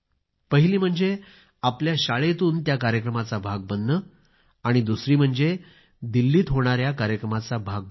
पहिली म्हणजे आपल्या शाळेतून त्या कार्यक्रमाचा भाग बनणे आणि दुसरी म्हणजे दिल्लीत होणाऱ्या कार्यक्रमाचा भाग बनणे